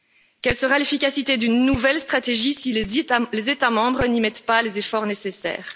Quelle sera l'efficacité d'une nouvelle stratégie si les États membres n'y mettent pas les efforts nécessaires?